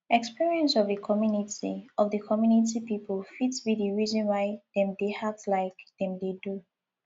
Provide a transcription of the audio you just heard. experience of di community of di community pipo fit be the reason why dem dey act like dem dey do